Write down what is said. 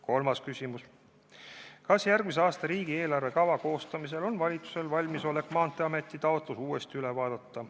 Kolmas küsimus: "Kas järgmise aasta riigieelarve kava koostamisel on valitsusel valmisolek Maanteeameti taotlus uuesti üle vaadata?